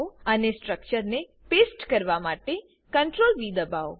અને અને સ્ટ્રક્ચરને પેસ્ટ કરવા માટે CTRL વી દબાઓ